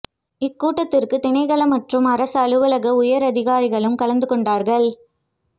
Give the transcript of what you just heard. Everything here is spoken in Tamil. இக்கூட்டத்துக்கு திணைக்கள மற்றும் அரச அலுவலக உயர் அதிகாரிகளும் கலந்து கொண்டார்கள்